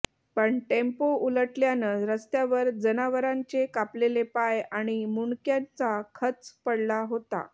पण टेम्पो उलटल्यानं रस्त्यावर जनावरांचे कापलेले पाय आणि मुंडक्यांचा खच पडला होता